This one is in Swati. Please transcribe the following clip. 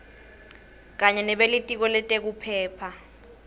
kanye nebelitiko letekuphepha